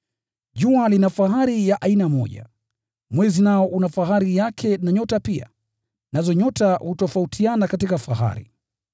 Jua lina fahari ya aina moja, mwezi nao una fahari yake na nyota pia, nazo nyota hutofautiana katika fahari.